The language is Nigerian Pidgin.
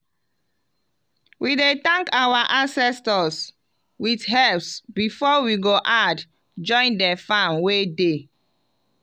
we dey thank our ancestors with herbs before we go add join the farm wey dey.